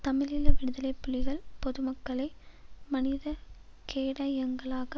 தமிழீழ விடுதலை புலிகள் பொதுமக்களை மனித கேடயங்களாக